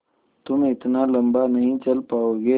तुम इतना लम्बा नहीं चल पाओगे